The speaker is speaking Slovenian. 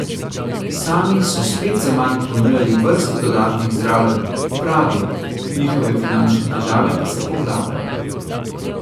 Sami so spet zaman ponujali vrsto dodatnih zdravljenj, pravijo, njihove finančne težave pa se poglabljajo.